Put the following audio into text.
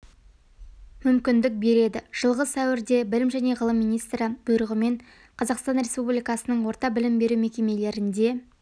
мүмкіндік береді жылғы сәуірде білім және ғылым министрі бұйрығымен қазақстан республикасының орта білім беру мекемелерінде